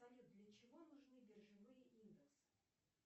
салют для чего нужны биржевые индекс